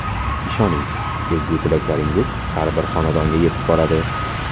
Ishoning, ezgu tilaklaringiz har bir xonadonga yetib boradi.